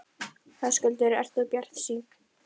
Ég veit að þér gekk gott eitt til, sagði hún.